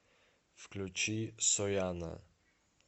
включи сояна